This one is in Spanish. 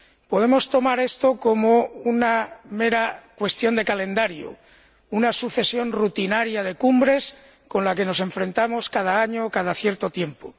Podemos tomar esto como una mera cuestión de calendario, una sucesión rutinaria de cumbres con la que nos enfrentamos cada año, cada cierto tiempo.